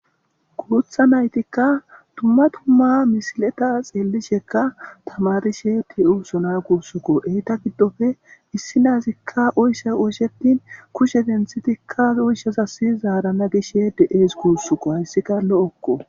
kurutha naytikka tumma tumma misileta xeellishekka tamarishe de7uusona guussuko eyta giddofe issi nazikka oysha oyshetin kushe denthitikka oyshazasi zaarana gishshe de7ees kuussuko hayssika lo7okko